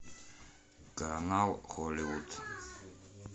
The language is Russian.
канал холливуд